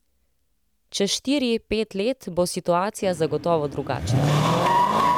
Čez štiri, pet let bo situacija zagotovo drugačna.